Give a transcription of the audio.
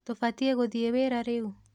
Tũbatiĩ gũthiĩ wĩra rĩu?